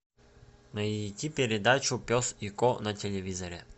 найди передачу пес и ко на телевизоре